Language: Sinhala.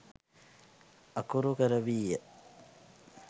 අකුරු කරවීය.